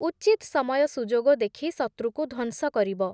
ଉଚିତ୍ ସମୟ ସୁଯୋଗ ଦେଖି ଶତ୍ରୁକୁ ଧ୍ୱଂସ କରିବ ।